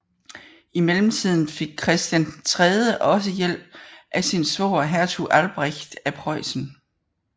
I mellemtiden fik Christian III også hjælp af sin svoger hertug Albrecht af Preussen